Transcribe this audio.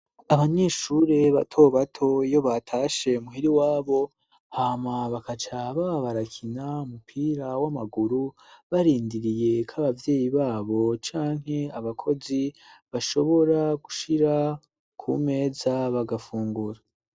Abanyeshure bato bato iyo batashe muhira iwabo hama bakacaba barakina umupira w'amaguru barindiriye k'ababyeyi babo canke abakozi bashobora gushira ku meza bagafungura.